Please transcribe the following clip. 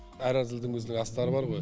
әр әзілдің өзінің астары бар ғой